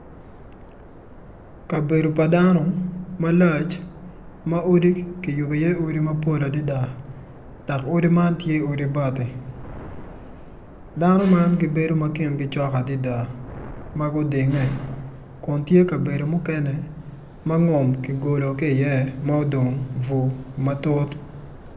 Kabedo pa dano malac ma odi kiyubo iye odi mapol adada dok odi man tye odi bati dano man gibedo ma kingi cok adada ma gudinge kun tye kabedo mukene ma ngom kigolo ki iye ma odong bur matut.